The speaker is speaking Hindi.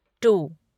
टू